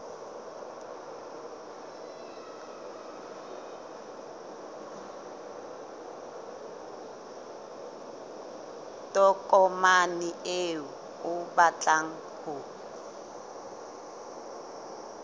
tokomane eo o batlang ho